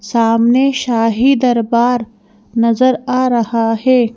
सामने शाही दरबार नजर आ रहा है।